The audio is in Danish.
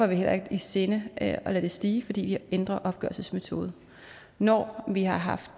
vi heller ikke i sinde at lade det stige fordi vi ændrer opgørelsesmetode når vi har haft